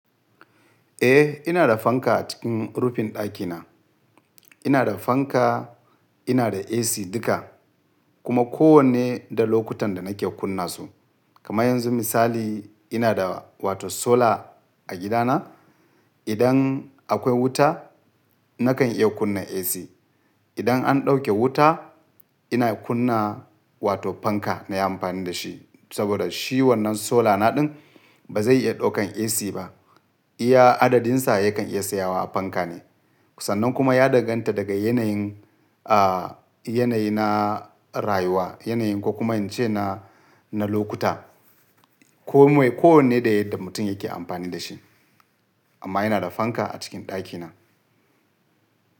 Eh, ina da fanka a cikin rufin ɗakina. Ina da fanka, ina da AC duka kuma ko wanne da lokutan da nake kunna su. Kamar yanzu misali ina da wato solar a gida na. Idan akwai wuta nakan iya kunna AC. Idan an ɗauke wuta ina kunna wato fanka na yi amfani da shi. Saboda shi wannan solar na ɗin ba zai iya ɗaukan AC ba. Iya adadin sa ya kan iya tsaya wa a fanka ne. Sannan kuma ya daganta daga yanayin, aa yanayi na rayuwa, yanayi ko kuma in ce na, na lokuta. Komai ko wanne da yadda mutum yake amfani da shi. Amma ina da fanka a cikin ɗakina.